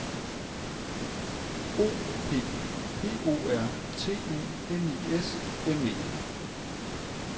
O P P O R T U N I S M E